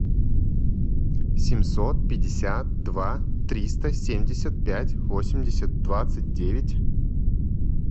семьсот пятьдесят два триста семьдесят пять восемьдесят двадцать девять